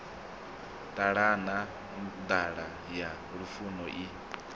ṱalana nḓala ya lufuno i